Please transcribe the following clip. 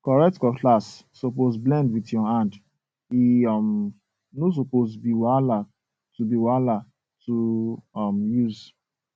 correct cutlass suppose blend with your hand um no suppose be wahala to be wahala to um use